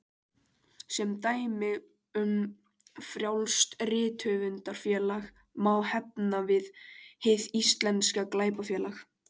Sem dæmi um frjálst rithöfundafélag má nefna Hið íslenska glæpafélag.